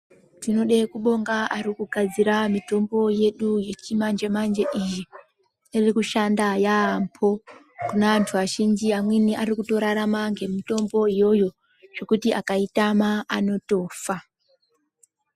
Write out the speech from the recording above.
Tinoda kubonga vari kugadzira mitombo yedu yechimanje manje iyi iri kushanda yambo kune antu azhinji amweni akutorarama nemitombo iyoyo zvekuti akaitama anotofa.